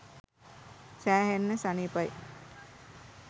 සෑහෙන්න සනිපයි.